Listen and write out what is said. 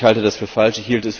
Ich halte das für falsch.